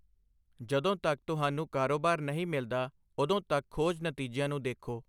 ਜਦੋਂ ਤੱਕ ਤੁਹਾਨੂੰ ਕਾਰੋਬਾਰ ਨਹੀਂ ਮਿਲਦਾ, ਉਦੋਂ ਤੱਕ ਖੋਜ ਨਤੀਜਿਆਂ ਨੂੰ ਦੇਖੋ।